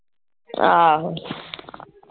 ਆਹੋ